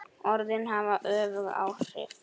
Orðin hafa öfug áhrif.